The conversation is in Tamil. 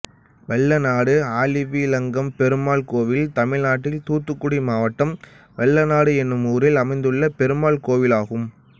வல்லநாடு ஆழிவிளங்கும்பெருமாள் கோயில் தமிழ்நாட்டில் தூத்துக்குடி மாவட்டம் வல்லநாடு என்னும் ஊரில் அமைந்துள்ள பெருமாள் கோயிலாகும்